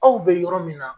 Aw bɛ yɔrɔ min na